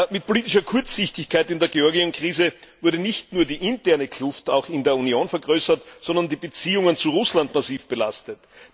Mit politischer Kurzsichtigkeit in der Georgienkrise wurde nicht nur die interne Kluft in der Union vergrößert, sondern die Beziehungen zu Russland wurden massiv belastet.